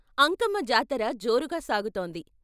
అంకమ్మ జాతర జోరుగా సాగుతోంది.